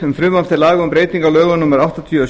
um breytingu á lögum númer áttatíu og